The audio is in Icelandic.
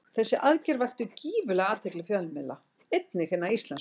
Þessi aðgerð vakti gífurlega athygli fjölmiðla, einnig hinna íslensku.